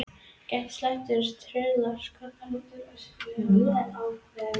Gæti slæmt veður truflað Skotana meira en íslenska liðið?